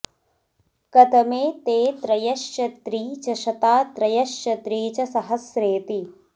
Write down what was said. कतमे॒ ते॒ त्र॒यश्च त्री॒ च शता॒ त्र॒यश्च त्री॒ च सह॒स्रे॒ति